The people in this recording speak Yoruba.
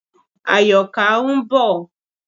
Àyọ̀ká ń bọ̀.